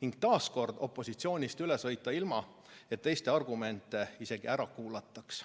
ning taas opositsioonist üle sõita, ilma et teiste argumente isegi ära kuulataks.